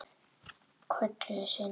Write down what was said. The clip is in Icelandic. Köllun sinni?